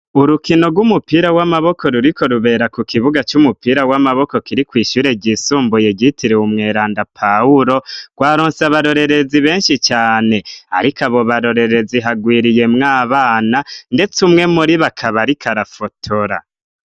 Urukino rw'umupira w'amaboko ruriko rubera ku kibuga c'umupira w'amaboko kiri kw'ishure ryisumbuye gitirewe umweranda pahulo rwaronse abarorerezi benshi cane, ariko abo barorerezi hagwiriye mwo abana, ndetse umwe muri bakaba, ariko arafotora.